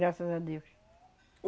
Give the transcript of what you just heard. Graças a Deus.